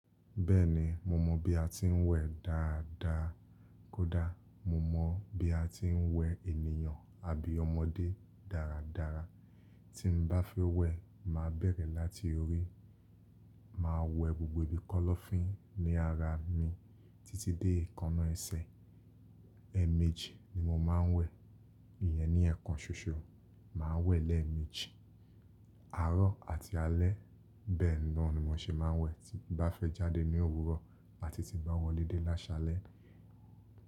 Bẹ́ẹ̀ni mo mọ̀ bí a ti ń wẹ̀ dáadáa kódà mo mọ̀ bí a ti ń wẹ ènìyàn àbí ọmọdé dáradára. Tí n bá fẹ́ wẹ̀, màá bẹ̀rẹ̀ láti orí, màá wẹ gbogbo ibi kọ́lọ́fín ní ara mi títí dé èékánná ẹsẹ̀. Ẹ̀ẹ̀mejì ni mo máa ń wẹ̀, ìyẹn ni ẹ̀ẹ̀kan ṣoṣọ. Màá wẹ̀ lẹ́ẹ̀mejì, àárọ̀ àti alẹ́. Bẹ́ẹ̀ ni mọ́ ṣe máa ń wẹ̀ tí n bá fẹ́ jáde ní òwúrọ̀ àti tí n bá wọlé dé lásalẹ́.